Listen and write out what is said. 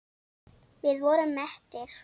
Við vorum mettir.